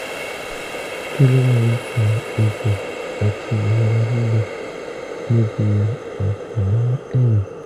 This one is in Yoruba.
kí ló máa ń fa egbò àti ìrora líle níbi ọ̀pá-ẹ̀yìn?